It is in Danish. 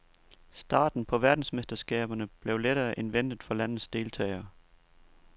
Starten på verdensmesterskaberne blev lettere end ventet for landets deltagere.